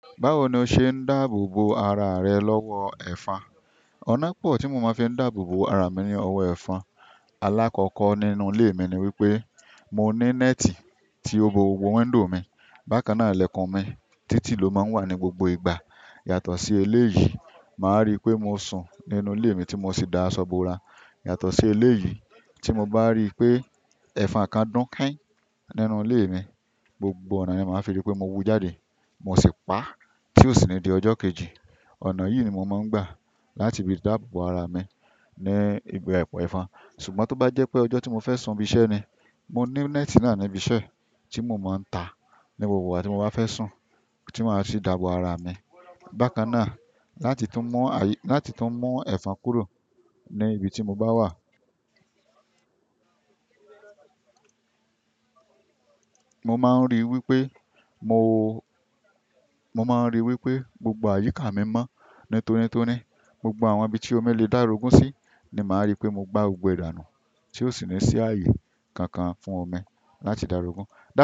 Báwo ni o ṣe ń dáàbò bo ara rẹ lọ́wọ́ ẹ̀fan? Ọ̀nà pọ̀ tí mo máa ń fi dáàbò bo ara mi ní ọwọ́ ẹ̀fan. Alákọ̀ọ́kọ́ nínú ilé mi ni wípé mo ní néètì tí ó bo gbogbo window mi. Bákan náà, ilẹ̀kùn mi títì ló máa ń wà ní gbogbo ìgbà. Yàtọ̀ sí eléyìí, màá rí i pé mo sùn nínú ilé mi tí mo sì dá aṣọ bo ara. Yàtọ̀ sí eléyìí, tí mo bá rí i pé ẹ̀fan kan dún kẹ́n nínú ilé mi, gbogbo ọ̀nà ni màá fi rí i pé mo wú jáde. Mo sì pa, tí ó sì le di ọjọ́ kejì. Ọ̀nà yìí ni mo máa ń gbà láti fi dáàbò bo ara mi ní ìgbe ẹ̀fan. Ṣùgbọ́n tó bá jẹ́ pé ọjọ́ tí mo fẹ́ sùn ibi iṣẹ́ ni, mo ní néètì náà ní ibi iṣẹ́ tí mo máa ń ta ní gbogbo ìgbà tí mo bá fẹ́ sùn tí màá sì dáàbò ara mi. Bákan náà, láti tún mọ́ àyí-- láti tún mọ́ ẹ̀fan kúrò ní ibi tí mo bá wà, mo máa ń rí i wípé mo, mo máa ń rí i wípé gbogbo àyíká mi mọ́ nítorí nítoni toni gbogbo àwọn ibi tí omi lè dárogún sí ni màá rí i pé mo gba gbogbo e danu tí ó de ni sí ààyè kankan fún omi láti dárogún.